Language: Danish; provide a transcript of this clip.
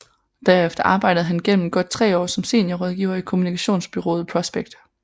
Derefter arbejdede han gennem godt tre år som seniorrådgiver i kommunikationsbureauet Prospect